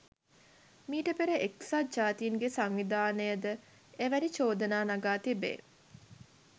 මීට පෙර එක්සත් ජාතීන්ගේ සංවිධානය ද එවැනි චෝදනා නගා තිබේ.